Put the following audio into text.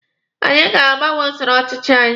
Anyị ga-agbanwe usoro ọchịchị anyị